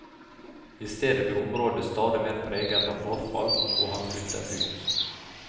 I stedet ble området stadig mer preget av forfall, og han flyttet ut.